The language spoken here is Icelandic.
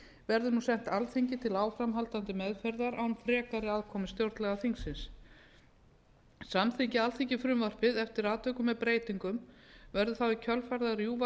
verður nú sent alþingi til áframhaldandi meðferðar án frekari aðkomu stjórnlagaþingsins samþykki alþingi frumvarpið eftir atvikum með breytingum verður þá í kjölfarið að rjúfa